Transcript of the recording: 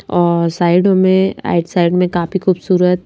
और साइडों में राइट साइड में काफी खूबसूरत--